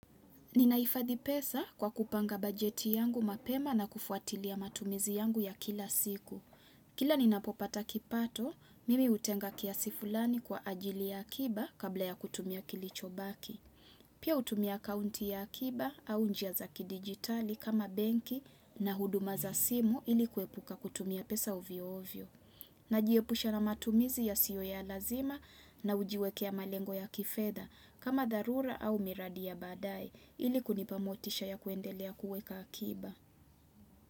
Ninaifadhi pesa kwa kupanga bajeti yangu mapema na kufuatilia matumizi yangu ya kila siku. Kila ninapopata kipato, mimi hutenga kiasi fulani kwa ajili ya akiba kabla ya kutumia kilicho baki. Pia hutumia akaunti ya akiba au njia za ki digitali kama benki na huduma za simu ili kuepuka kutumia pesa ovyo ovyo. Najiepusha na matumizi yasiyo ya lazima na hujiwekea malengo ya kifedha kama dharura au miradi ya badaye ili kunipa motisha ya kuendelea kuweka akiba.